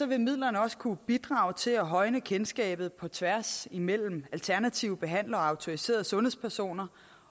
vil midlerne også kunne bidrage til at højne kendskabet på tværs mellem alternative behandlere og autoriserede sundhedspersoner